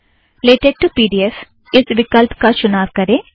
LaTeX to P D F इस विकल्प का चुनाव करें